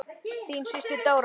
Þín systir, Dóra.